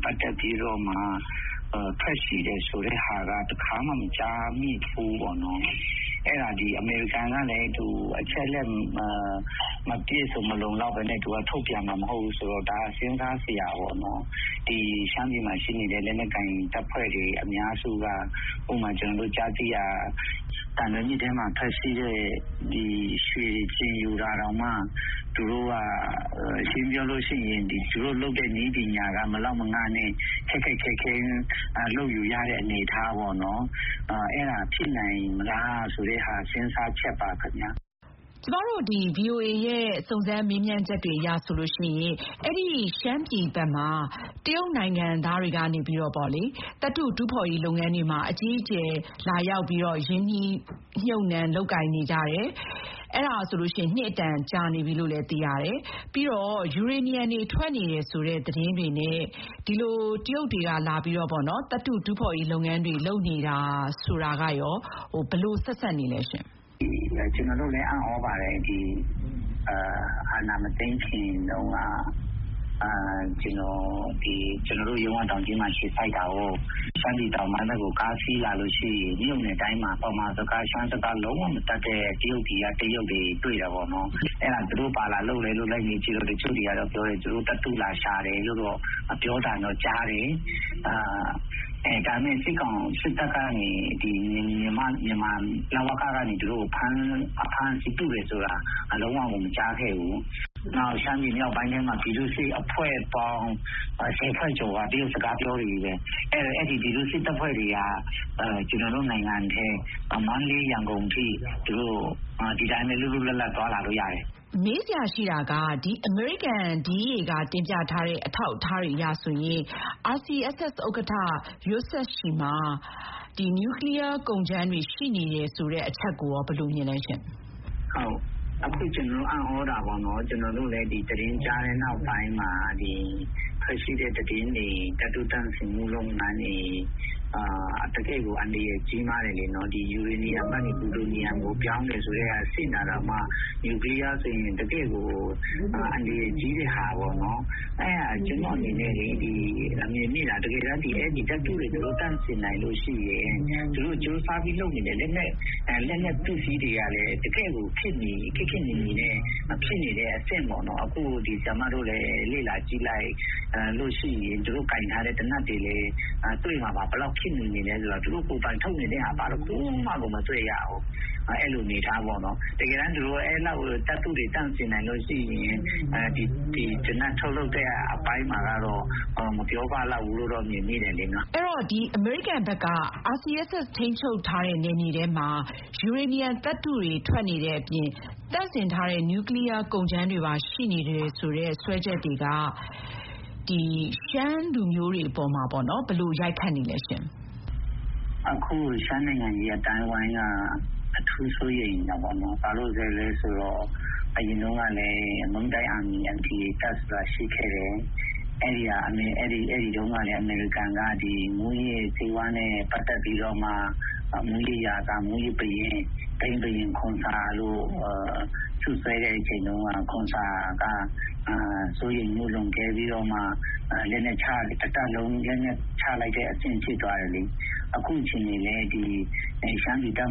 ပတ်သက်ပြီးတော့မှ ထွက်ရှိတယ်ဆိုတာ တခါမှ မကြားမိဘူးပေါ့နော်၊ အမေရိကန်ကလည်း အချက်အလက် မပြည့်မစုံ မလုံလောက်ဘဲနဲ့ သူက ထုတ်ပြန်မှာမဟုတ်ဘူးဆိုတော့ ဒါ- စဥ်းစားစရာပေါ့နော်။ ရှမ်းပြည်မှာရှိနေတဲ့ လက်နက်ကိုင်တပ်ဖွဲ့တွေအများစုက ဥပမာ-ကျနော်တို့ကြားသိရတာက - သံလွင်မြစ်ထဲမှာထွက်တဲ့ရွှေတွေကို ကျင်ယူတာတောင်မှ ရှင်းရှင်းပြောလို့ရှိရင် သူတို့လုပ်တဲ့ နည်းပညာက မလောက်မငနဲ့ ခက်ခက်ခဲခဲ လုပ်ယူရတဲ့အနေအထားပေါ့နော်။ အဲဒါ ဖြစ်နိုင်မလားဆိုတဲ့ဟာ စဥ်းစားချက်ပါခင်ဗျ။ ကျမတို့ ဗွီအိုအေရဲ့ စုံစမ်းမေးမြန်းချက်တွေအရဆိုရင် အဲဒီရှမ်းပြည်ဘက်မှာ တရုတ်နိုင်ငံသားတွေလာပြီး သတ္တု တူးဖေါ်ရေးလုပ်ငန်းတွေ အကြီးအကျယ်လာရောက် ရင်းနှီးမြှုပ်နှံ လုပ်ကိုင်နေကြတာ နှစ်အတန်ကြာပြီလို့ သိရပါတယ်။ အဲတာ ယူရေနီယံတွေ ထွက်နေတယ်ဆိုတဲ့ သတင်းတွေနဲ့ တရုတ်တွေလာပြီး သတ္တုတူးဖေါ်ရေးလုပ်ငန်းတွေ လုပ်နေတယ်ဆိုတာကရော ဘယ်လို ဆက်စပ်နေလဲ။ ကျနော်တို့လည်း အံ့သြပါတယ်။ အာဏာမသိမ်းခင်တုန်းက - ကျနော်တို့ရုံးက တောင်ကြီးမှာအခြေစိုက်တာကိုး။ ရှမ်းပြည်တောင်ပိုင်းဘက်ကို ကားစီးလာလို့ရှိရင် မြို့နယ်တိုင်းမှာ ဗမာစကား၊ ရှမ်းစကား လုံးဝမတတ်တဲ့ တရုတ်ပြည်ကတရုတ်တွေ တွေ့တာပေါ့နော်၊ အဲဒါ သူတို့ဘာလာလုပ်လဲလို့ လိုက်မေးကြည့်တော့ တချို့တွေက သူတို့သတ္တုလာရှာတယ်လို့တော့ ပြောသံတော့ကြားတယ်။ ဒါနဲ့ စစ်တပ်ကနေ- လဝက-ကနေ သူတို့ကို ဖမ်းဆီးတယ်ဆိုတာ လုံးဝကို မကြားခဲ့ဖူးဘူး။ နောက် ရှမ်းပြည်မြောက်ပိုင်းထဲမှာ ပြည်သူ့စစ်အဖွဲ့ပေါင်း.....ကျော်က တရုတ်စကားပြောတွေချည့်ပဲ။ အဲဒီပြည်သူ့စစ်တပ်ဖွဲ့တွေက ကျနော်တို့နိုင်ငံထဲ မန္တလေး-ရန်ကုန်အထိ ဒီအတိုင်းပဲ လွတ်လွတ်လပ်လပ် သွားလာလို့ရတယ်။ မေးစရာရှိတာက အမေရိကန် DEA က တင်ပြထားတဲ့ အထောက် အထားတွေအရ RCSS ဥက္ကဋ္ဌ စဝ်ယွက်ဆစ်ရဲ့လက်ထဲမှာ နျူကလီယားကုန်ကြမ်းတွေရှိနေတယ် ဆိုတဲ့ အချက်ကိုရော ဘယ်လိုမြင်လဲ။ ကျနော်အံ့သြတာပေါ့နော်၊ ကျနော်တို့လည်း ဒီသတင်းကြားတဲ့နောက်ပိုင်းမှာ ထွက်ရှိတဲ့သတင်းတွေ၊ သတ္တုသန့်စင်မှုလုပ်ငန်းတွေ၊ တကယ့်ကို အန္တရာယ်ကြီးမားတယ်လေနော်၊ ယူရေနီယံကနေ ပလူတိုနီယံကို ပြောင်းမယ်ဆိုတဲ့အဆင့်မှာတောင်မှ- နျူကလီယားဆိုရင် တကယ့်ကို အန္တရာယ်ကြီးတဲ့ဟာပေါ့နော်။ ကျနော့်အနေနဲ့ မြင်မိတာ တကယ်တန်း သူတို့ အဲဒီသတ္တုတွေကို ဒီလိုသန့်စင်နိုင်လို့ရှိရင် သူတို့ကြိုးစားပြီးလုပ်နေတဲ့ လက်နက်ပစ္စည်းတွေကလည်း တကယ့်ခေတ်မီနေတဲ့အဆင့်ပေါ့နော်။ အခု ဆရာမတို့လည်း လေ့လာကြည့်လိုက်လို့ရှိရင် သူတို့ကိုင်ထားတဲ့သေနတ်တွေလည်း တွေ့မှာပါ။ ဘယ်လောက် ခေတ်မီနေလဲဆိုတာ၊ သူတို့ကိုယ်ပိုင်ထုတ်နေတဲ့ဟာ ဘာတခုမှကို မတွေ့ရဘူး။ အဲလိုအနေအထားပေါ့နော်။ တကယ်တန်း သူတို့ အဲလောက် သတ္တုတွေ သန့်စင်နိုင်လို့ရှိရင် ဒီသေနတ်ထုတ်လုပ်တဲ့အပိုင်းမှာကတော့ မပြောပလောက်ဘူးလို့ မြင်မိတယ်လေ၊ နော်။ အဲတော့ အမေရိကန်ဘက်က RCSS ထိန်းချုပ်နယ်မြေထဲမှာ ယူရေနီယံသတ္တုတွေ ထွက်နေတဲ့အပြင် သန့်စင်ထားတဲ့ နျူကလီယား ကုန်ကြမ်းတွေပါရှိနေတယ်ဆိုတဲ့ စွဲချက်တွေက ရှမ်းလူမျိုးတွေကို ဘယ်လိုရိုက်ခတ်နေသလဲ။ အခု ရှမ်းနိုင်ငံရေးအသိုင်းအဝိုင်းက အထူးစိုးရိမ်တာပေါ့နော်။ ဘာဖြစ်လို့လဲဆိုတော့ အရင်တုန်းကလည်း ////....ဆိုတာ ရှိခဲ့တယ်။ အဲဒီတုန်းကလည်း အမေရိကန်က မူးယစ်ဆေးဝါးနဲ့ပတ်သက် မူးယစ်ရာဇာ၊ မူးယစ်ဘုရင်၊ ဘိန်းဘုရင် ခွန်ဆာ - လို့စွပ်စွဲတဲ့အချိန်တုန်းက ခွန်ဆာက စိုးရိမ်မှုလွန်ကဲပြီးတော့မှ တတပ်လုံး လက်နက်ချလိုက်တဲ့အဆင့် ဖြစ်သွားတယ်လေ။ အခုအခြေအနေလည်း ရှမ်းပြည်တ